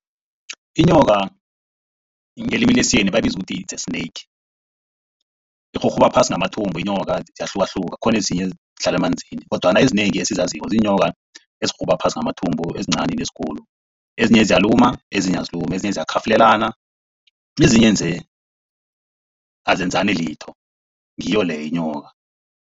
Inyoka ngelimi lesiyeni bayiza ukuthi its snake. Irhurhuba phasi ngamathumbu inyoka. Ziyahlukahluka khona ezinye zihlala emanzini. Kodwana ezinengi esizaziko, ziinyoka ezirhurhuba phasi ngamathumbu ezincani nezikulu. Ezinye ziyaluma, ezinye azilumi, ezinye ziyakhafulelana, ezinye nje azenzani litho, ngiyo leyo inyoka.